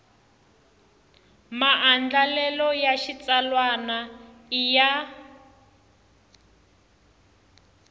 maandlalelo ya xitsalwana i ya